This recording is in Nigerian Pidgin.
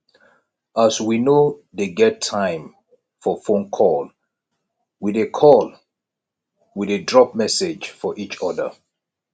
as we no dey get time for fone call we dey call we dey drop message for each other